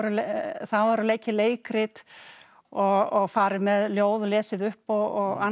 það voru leikin leikrit og farið með ljóð og lesið upp og annað